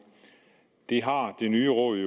det har det nye råd